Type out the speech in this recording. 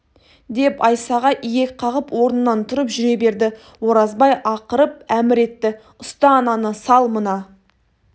деп айсаға иек қағып орнынан тұрып жүре берді оразбай ақырып әмір етті ұста ананы сал мына